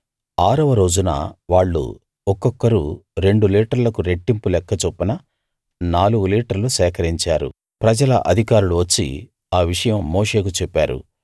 ఆరవ రోజున వాళ్ళు ఒక్కొక్కరు రెండు లీటర్లకు రెట్టింపు లెక్క చొప్పున నాలుగు లీటర్లు సేకరించారు ప్రజల అధికారులు వచ్చి ఆ విషయం మోషేకు చెప్పారు